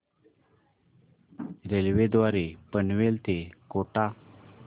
railway द्वारे पनवेल ते कोटा